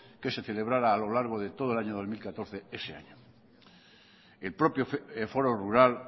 que se celebrara a lo largo de todo el año dos mil catorce ese año el propio foro rural